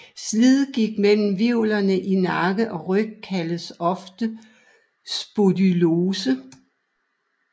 Slidgigt mellem hvirvler i nakke og ryg kaldes ofte spondylose